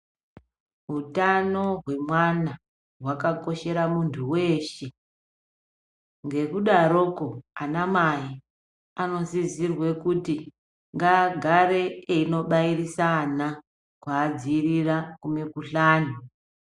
Utano hwemwana hwakakoshera muntu weshe, ngekudaroko anamai anosisirwe kuti agagare einobairisa ana kuvadzivirira kumikhuhlani.